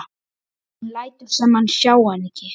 Hún lætur sem hún sjái hann ekki.